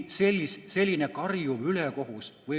See on selline karjuv ülekohus.